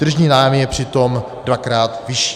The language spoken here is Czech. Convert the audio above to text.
Tržní nájem je přitom dvakrát vyšší.